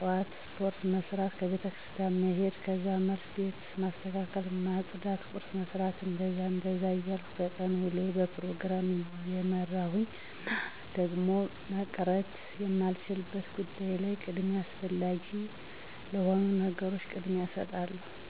ጥዋት ስፖርት መስራት፣ ቤተክርስቲያን መሔድ ከዛ መልስ ቤት ማስተካከል ማፅዳት ቁርስ መስራት... እንደዛ እንደዛ እያልኩ የቀን ውሎየን በፕሮግራም እመራለሁኝ። እና ደግሞ መቅረት የማይቻልበት ጉዳይ ላይ ቅድሚያ አስፈላጊ ለሆኑ ነገሮች ቅድሚያ እሰጣለሁኝ።